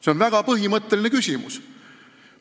See on väga põhimõtteline küsimus.